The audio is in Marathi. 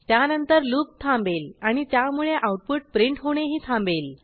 त्यानंतर लूप थांबेल आणि त्यामुळे आऊटपुट प्रिंट होणेही थांबेल